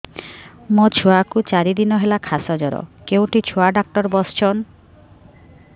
ମୋ ଛୁଆ କୁ ଚାରି ଦିନ ହେଲା ଖାସ ଜର କେଉଁଠି ଛୁଆ ଡାକ୍ତର ଵସ୍ଛନ୍